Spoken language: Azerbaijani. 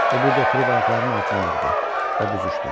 O burda oturub ayaqlarını altına yığdı və büzüşdü.